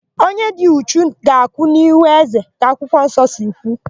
Onye dị uchu ga-akwụ n'ihu ézē ka akwụkwọnsọ si kwu.